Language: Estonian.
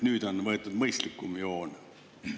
Nüüd on võetud mõistlikum joon.